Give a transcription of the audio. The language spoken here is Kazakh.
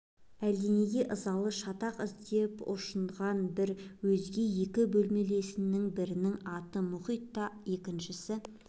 әлденеге ызалы шатақ іздеп ұшынған бір өзге екі бөлмелесінің бірінің аты мұхит та екіншісі